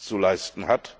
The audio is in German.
zu leisten.